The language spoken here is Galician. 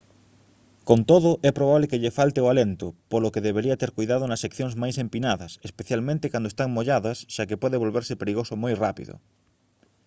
con todo é probable que lle falte o alento polo que debería ter coidado nas seccións máis empinadas especialmente cando están molladas xa que pode volverse perigoso moi rápido